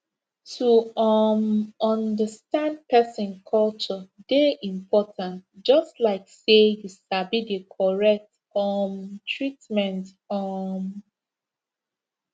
to um understand person culture dey important just like say you sabi the correct um treatment um